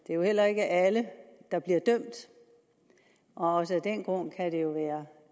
heller ikke alle der bliver dømt og også af den grund kan det jo være